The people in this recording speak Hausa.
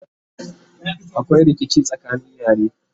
akwai rikici tsakanin yare